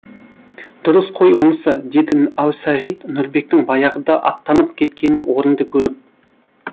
дұрыс қой онысы деді әусағит нұрбектің баяғыда аттанып кеткенін орынды көріп